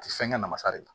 A ti fɛn kɛ namasa de la